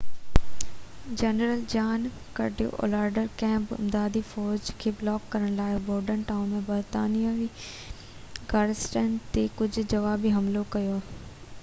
general John Cadwalader ڪنهن به امدادي فوج کي بلاڪ ڪرڻ لاءِ بورڊن ٽائون ۾ برطانوي گاريسن تي هڪ جوابي حملو ڪندو